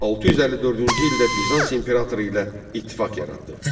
654-cü ildə Bizans imperatoru ilə ittifaq yaratdı.